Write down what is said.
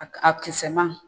A a kisɛma